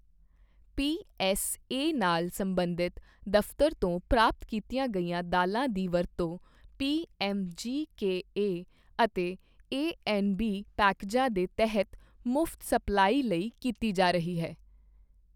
PSA ਨਾਲ ਸਬੰਧਿਤ buffer ਤੋਂ ਪ੍ਰਾਪਤ ਕੀਤੀਆਂ ਗਈਆਂ ਦਾਲ਼ਾਂ ਦੀ ਵਰਤੋਂ ਪੀਐੱਮਜੀਕੇਏ ਅਤੇ ਏਐਨਬੀ ਪੈਕੇਜਾਂ ਦੇ ਤਹਿਤ ਮੁਫਤ ਸਪਲਾਈ ਲਈ ਕੀਤੀ ਜਾ ਰਹੀ ਹੈ।